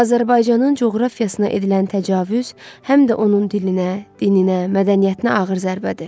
Azərbaycanın coğrafiyasına edilən təcavüz həm də onun dilinə, dininə, mədəniyyətinə ağır zərbədir.